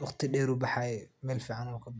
waqti badan ayuu baxaaye meel fican ayuu kabaxay.